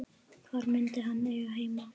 Hvar myndi hann eiga heima?